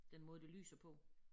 Den måde det lyser på